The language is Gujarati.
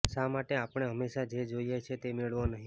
શા માટે આપણે હંમેશા જે જોઈએ છે તે મેળવો નહીં